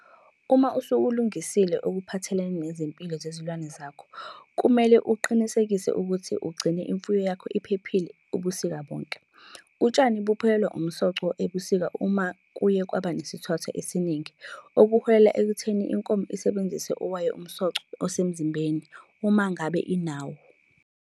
Uma usukulungisile okuphathelene nezempilo zezilwane zakho, kumele-ke uqinisekise ukuthi ugcine imfuyo yakho iphilile ubusika bonke. Utshani buphelelwa umsoco ebusika uma kuye kwaba nesithwathwa esiningi, okuholela ekutheni inkomo isebenzise owayo umsoco osemzimbeni, uma ngabe inawo.